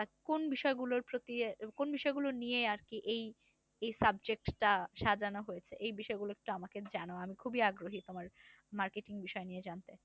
কোন বিষয় গুলোর প্রতি কোন বিষয় গুলো নিয়ে আর এই subject টা সাজানো হয়েছে? এই বিষয় গুলো একটু আমাকে জানাও। আমি খুবই আগ্রহী তোমার marketing বিষয় নিয়ে জানতে।